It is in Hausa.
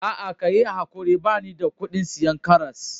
Aa, ka yi ankuri bani da kudin siyan karras.